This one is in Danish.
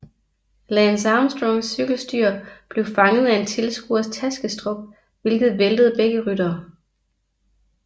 Lance Armstrongs cykelstyr blev fanget af en tilskuers taskestrop hvilket væltede begge ryttere